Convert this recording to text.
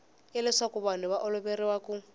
leswaku vanhu va oloveriwa ku